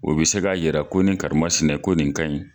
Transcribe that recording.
O be se k'a yira ko ni karimasinɛ ko nin kaɲi